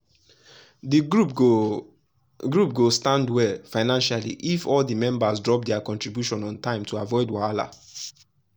the group go group go stand well financially only if all the members drop their contribution on time to avoid wahala.